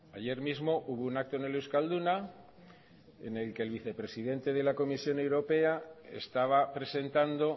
ayer mismo hubo un acto en el euskalduna en el que el vicepresidente de la comisión europea estaba presentando